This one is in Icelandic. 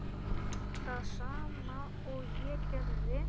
Það sama og ég gerði.